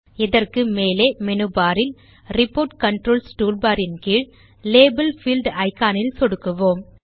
இதற்கு மேலே மெனு பாரில் ரிப்போர்ட் கன்ட்ரோல்ஸ் டூல்பார் இன் கீழ் லேபல் பீல்ட் இக்கான் இல் சொடுக்குவோம்